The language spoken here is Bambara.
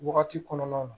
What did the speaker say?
Wagati kɔnɔna na